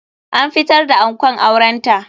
An fitar da ankon auren ta.